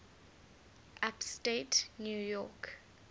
upstate new york